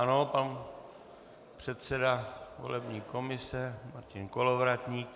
Ano, pan předseda volební komise Martin Kolovratník.